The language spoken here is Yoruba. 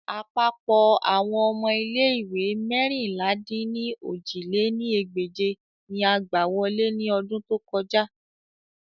Apapọ awọn ọmọ ile-iwe meérinlá-dín-ní-ojì lé ní ẹgbẹ́je ni a gba wọle ni ọdun to kọja